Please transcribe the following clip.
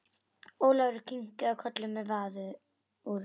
Ólafur kinkaði kolli með varúð.